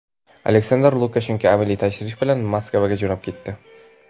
Aleksandr Lukashenko amaliy tashrif bilan Moskvaga jo‘nab ketdi.